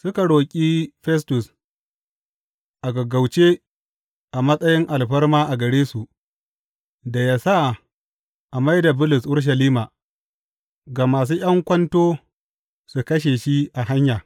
Suka roƙi Festus a gaggauce a matsayin alfarma gare su, da yă sa a mai da Bulus Urushalima, gama sun ’yan kwanto su kashe shi a hanya.